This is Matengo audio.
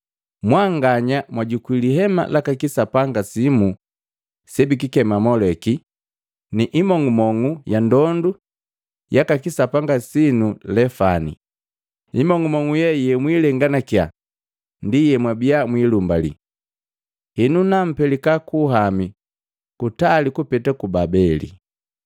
Mwanganya mwajukwi lihema laka kisapanga sinu Moleki, na imong'umong'u ya ndondu yaka sapanga winu Lefani, imong'umong'u ye muilenganakya ndi yemwabiya mwilumbali. Henu nampelika kuluhami kutali kupeta ku Babeli.’ ”